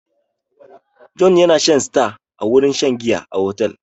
Jonh yana shan star a wurin shan giya a otel.